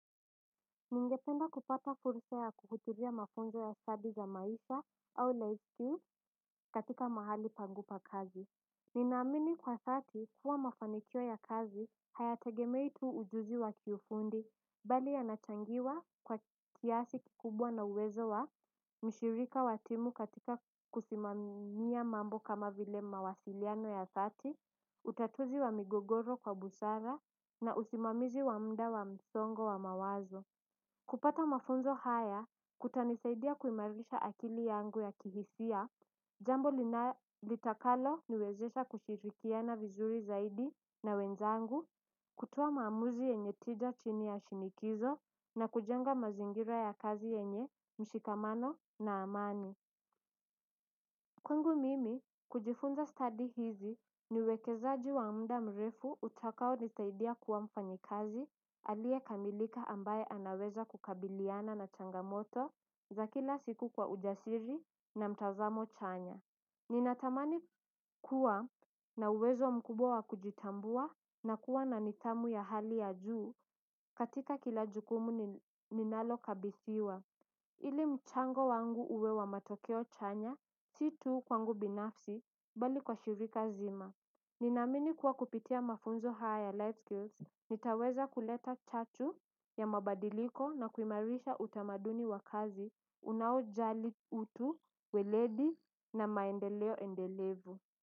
Ningependa kupata fursa ya kukutulia mafunzo ya stadi za maisha au life skills and katika mahali pangupa kazi. Ninaamini kwa dhati kuwa mafanikio ya kazi hayategemei tu ujuzi wa kiufundi. Bali yanachangiwa kwa kiasi kikubwa na uwezo wa mshirika wa timu katika kusimamia mambo kama vile mawasiliano ya thati utatuzi wa migogoro kwa busara na usimamizi wa mda wa msongo wa mawazo. Kupata mafunzo haya kutanisaidia kuimarisha akili yangu ya kihisia, jambo litakalo niwezesha kushirikiana vizuri zaidi na wenzangu, kutoa maamuzi yenye tida chini ya shinikizo na kujenga mazingira ya kazi yenye mshikamano na amani. Kwangu mimi, kujifunza study hizi ni uwekezaji wa mda mrefu utakao nitaidia kuwa mfanyikazi aliyekamilika ambaye anaweza kukabiliana na changamoto za kila siku kwa ujasiri na mtazamo chanya. Ninatamani kuwa na uwezo mkubwa wa kujitambua na kuwa na nidhamu ya hali ya juu katika kila jukumu ninalo kabithiwa. Ile mchango wangu uwe wa matokeo chanya, si tu kwangu binafsi, bali kwa shirika zima. Ninamini kuwa kupitia mafunzo haya ya life skills, nitaweza kuleta chatu ya mabadiliko na kuimarisha utamaduni wa kazi, unaojali utu, weledi na maendeleo endelevu.